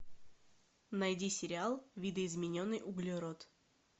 найди сериал видоизмененный углерод